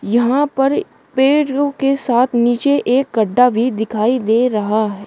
यहां पर पेड़ लोग के साथ नीचे एक गड्ढा भी दिखाई दे रहा है।